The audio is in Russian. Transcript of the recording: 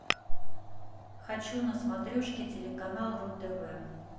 хочу на смотрешке телеканал ру тв